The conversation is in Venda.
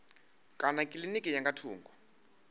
kana kilinikini ya nga thungo